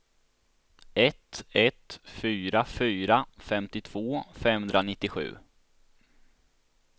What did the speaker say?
ett ett fyra fyra femtiotvå femhundranittiosju